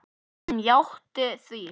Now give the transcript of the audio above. Hann játti því.